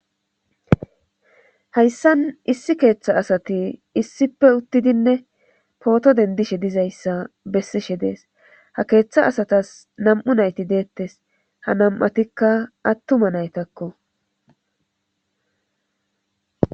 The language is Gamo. Hayssan issi keeththa asati issipe uttidinne pooto dendishe dizayssa bessishe dees ha keeththa asatas nam7u nayti deettes ha nam7atikka attuma naytakko.